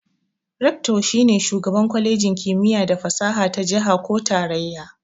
"Rector"shi ne shugaban kwalejin kimiyya da fasaha ta jiha ko tarayya.